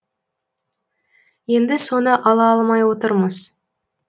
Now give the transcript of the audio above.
енді соны ала алмай отырмыз